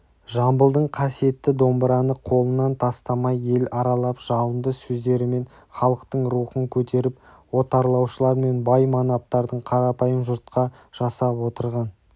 жамбылдың қасиетті домбыраны қолынан тастамай ел аралап жалынды сөздерімен халықтың рухын көтеріп отарлаушылар мен бай-манаптардың қарапайым жұртқа жасап отырған